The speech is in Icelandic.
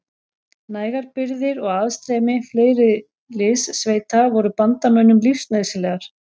Nægar birgðir og aðstreymi fleiri liðssveita voru bandamönnum lífsnauðsynlegar.